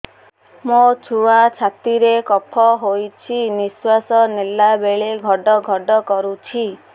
ମୋ ଛୁଆ ଛାତି ରେ କଫ ହୋଇଛି ନିଶ୍ୱାସ ନେଲା ବେଳେ ଘଡ ଘଡ କରୁଛି